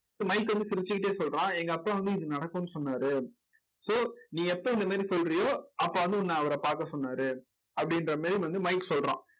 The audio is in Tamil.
மைக்க வந்து சிரிச்சுக்கிட்டே சொல்றான். எங்க அப்பா வந்து இது நடக்கும்ன்னு சொன்னாரு. so நீ எப்ப இந்த மாதிரி சொல்றியோ அப்ப வந்து உன்னை அவரை பார்க்க சொன்னாரு அப்படின்ற மாதிரி வந்து மைக் சொல்றான்.